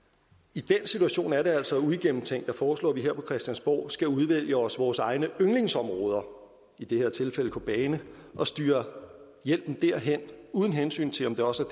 i den situation er det altså uigennemtænkt at foreslå at vi her på christiansborg skal udvælge os vores egne yndlingsområder i det her tilfælde kobane og styre hjælpen derhen uden hensyn til om det også